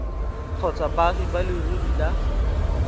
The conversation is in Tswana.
kgotsa baagi ba leruri ba